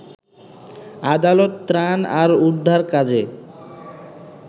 আদালত ত্রাণ আর উদ্ধার কাজে